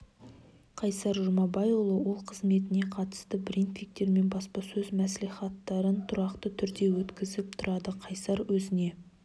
қайсар жұмабайұлы ол қызметіне қатысты брифингтер мен баспасөз мәслихаттарын тұрақты түрде өткізіп тұрады қайсар өзіне